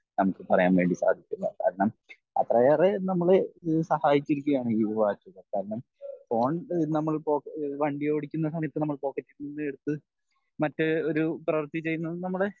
നമുക് പറയാൻ വേണ്ടി സാധിക്കുന്നതാണ് കാരണം അത്രയേറെ നമ്മൾ സഹായിച്ചിരിക്കുകയാണ് ഈ വാച്ചുകൾ കാരണം ഫോൺ നമ്മൾ പോ വണ്ടി ഓടിക്കുന്ന സമയത്ത് നമ്മൾ പോക്കറ്റിൽ നിന്ന് എടുത്ത് മറ്റൊരു പ്രവർത്തി ചെയുന്നത് നമ്മുടെ